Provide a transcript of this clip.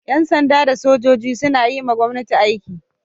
Yan sanda da sojoji suna yiwa gwomnati aiki